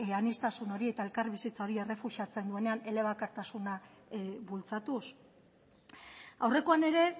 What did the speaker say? aniztasun hori eta elkarbizitza hori errefusatzen duenean elebakartasuna bultzatuz aurrekoan ere